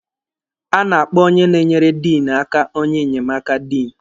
A na-akpọ onye na-enyere Diinụ aka onye nnyemaka Diinụ.